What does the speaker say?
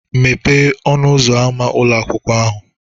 Mepee ọnụ ụzọ ámá ụlọ akwụkwọ ahụ